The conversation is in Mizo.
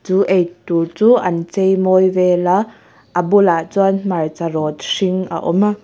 chu eitur chu an cheimawi vela a bulah chuan hmarcha rawt hring a awm a.